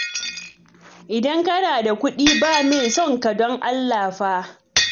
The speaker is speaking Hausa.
Idan kana da kuɗi, ba mai son ka don Allah fa